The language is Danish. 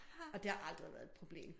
Og det har aldrig været et problem